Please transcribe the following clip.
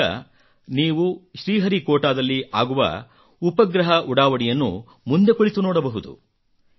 ಈಗ ನೀವು ಶ್ರೀಹರಿಕೋಟಾದಲ್ಲಿ ಆಗುವ ಉಪಗ್ರಹ ಉಡಾವಣೆಯನ್ನು ಮುಂದೆ ಕುಳಿತು ನೋಡಬಹುದು